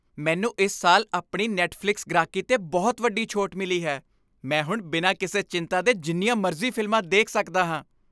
ਮੈਨੂੰ ਇਸ ਸਾਲ ਆਪਣੀ ਨੈੱਟਫਲਿਕਸ ਗ੍ਰਾਹਕੀ 'ਤੇ ਬਹੁਤ ਵੱਡੀ ਛੋਟ ਮਿਲੀ ਹੈ। ਮੈਂ ਹੁਣ ਬਿਨਾਂ ਕਿਸੇ ਚਿੰਤਾ ਦੇ ਜਿੰਨੀਆਂ ਮਰਜ਼ੀ ਫ਼ਿਲਮਾਂ ਦੇਖ ਸਕਦਾ ਹਾਂ।